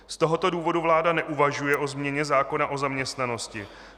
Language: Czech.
Z tohoto důvodu vláda neuvažuje o změně zákona o zaměstnanosti.